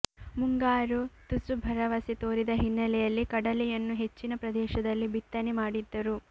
ಮುಂಗಾರು ತುಸು ಭರವಸೆ ತೋರಿದ ಹಿನ್ನೆಲೆಯಲ್ಲಿ ಕಡಲೆಯನ್ನು ಹೆಚ್ಚಿನ ಪ್ರದೇಶದಲ್ಲಿ ಬಿತ್ತನೆ ಮಾಡಿದ್ದರು